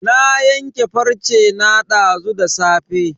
Na yanke farce na dazu da safe.